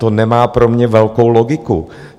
To nemá pro mě velkou logiku.